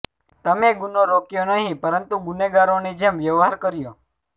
તમે ગુનો રોક્યો નહિ પરંતુ ગુનેગારોની જેમ વ્યવહાર કર્યો